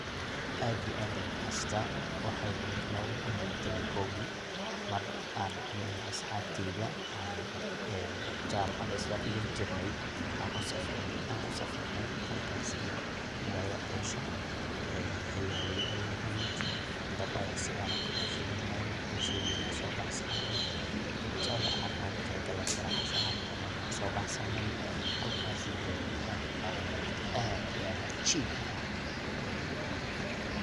aad iyo aad ayan u xasuusta waxay ehed labaadi kun labatan iyo kowgii mar an aniga iyo asxabteeda an jamacada isla dhigan jirne an usafarnay halkaas iyomagalada arusha xili haween ayay ehed, dab ayan sidan oo kale ushidane, kursiyadena ayan soo baxsanay ,cuntada an ogu talagalnay inan casha ahan ucuno na wan soo baxsanay halkaasi dee waxan ku qadanay waqti aad iyo aad caajib u ah